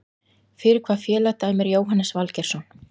Fyrir hvaða félag dæmir Jóhannes Valgeirsson?